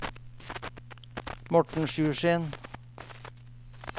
Morten Sjursen